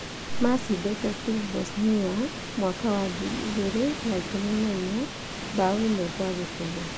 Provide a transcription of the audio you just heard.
Macindĩte tu Bosnia mwaka wa ngiri igĩrĩ na ikũmi na inya bao ĩmwe kwa kĩbũgũ.